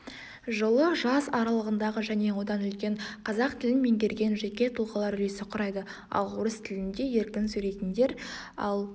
жылы жас аралығындағы және одан үлкен қазақ тілін меңгерген жеке тұлғалар үлесі құрайды ал орыс тілінде еркін сөйлейтіндер ал